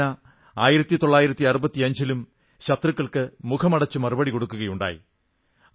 വായുസേന 1965 ലും ശത്രുക്കൾക്ക് മുഖമടച്ച് മറുപടി കൊടുക്കുകയുണ്ടായി